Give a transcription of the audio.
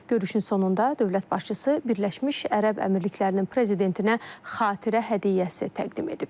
Görüşün sonunda dövlət başçısı Birləşmiş Ərəb Əmirliklərinin prezidentinə xatirə hədiyyəsi təqdim edib.